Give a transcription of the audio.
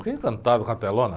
Fiquei encantado com a telona